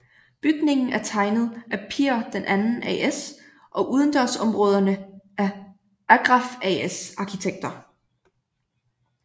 Bygningen er tegnet af Pir II AS og udendørsområderne af Agraff AS arkitekter